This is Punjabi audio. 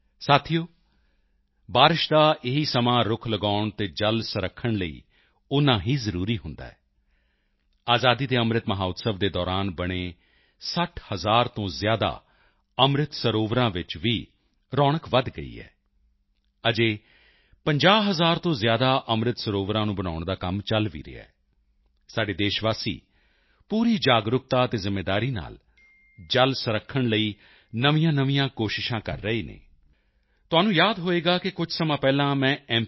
ਸਾਥੀਓ ਬਾਰਿਸ਼ ਦਾ ਇਹੀ ਸਮਾਂ ਰੁੱਖ ਲਗਾਉਣ ਅਤੇ ਜਲ ਸੰਭਾਲ਼ ਲਈ ਓਨਾ ਹੀ ਜ਼ਰੂਰੀ ਹੁੰਦਾ ਹੈ ਆਜ਼ਾਦੀ ਕੇ ਅੰਮ੍ਰਿਤ ਮਹੋਤਸਵ ਦੇ ਦੌਰਾਨ ਬਣੇ 60 ਹਜ਼ਾਰ ਤੋਂ ਜ਼ਿਆਦਾ ਅੰਮ੍ਰਿਤ ਸਰੋਵਰਾਂ ਵਿੱਚ ਵੀ ਰੌਣਕ ਵਧ ਗਈ ਹੈ ਅਜੇ 50 ਹਜ਼ਾਰ ਤੋਂ ਜ਼ਿਆਦਾ ਅੰਮ੍ਰਿਤ ਸਰੋਵਰਾਂ ਨੂੰ ਬਣਾਉਣ ਦਾ ਕੰਮ ਚਲ ਵੀ ਰਿਹਾ ਹੈ ਸਾਡੇ ਦੇਸ਼ਵਾਸੀ ਪੂਰੀ ਜਾਗਰੂਕਤਾ ਅਤੇ ਜ਼ਿੰਮੇਵਾਰੀ ਨਾਲ ਜਲ ਸੰਰਖਣ ਲਈ ਨਵੀਆਂਨਵੀਆਂ ਕੋਸ਼ਿਸ਼ਾਂ ਕਰ ਰਹੇ ਹਨ ਤੁਹਾਨੂੰ ਯਾਦ ਹੋਵੇਗਾ ਕਿ ਕੁਝ ਸਮਾਂ ਪਹਿਲਾਂ ਮੈਂ ਐੱਮ